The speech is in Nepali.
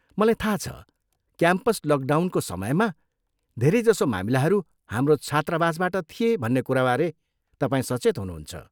मलाई थाहा छ, क्याम्पस लकडाउनको समयमा धेरैजसो मामिलाहरू हाम्रो छात्रावासबाट थिए भन्ने कुराबारे तपाईँ सचेत हुनुहुन्छ।